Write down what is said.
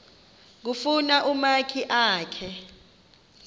kufuna umakhi akhe